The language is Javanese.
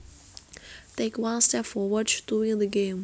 Take one step forward to win the game